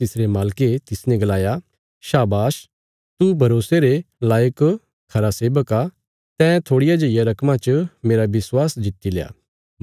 तिसरे मालके तिसने गलाया शाबाश तू भरोसे रे लायक खरा सेबक आ तैं थोड़िया जेईया रकमा च मेरा विश्वास जित्तिल्या